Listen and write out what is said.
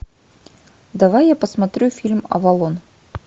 давай я посмотрю фильм авалон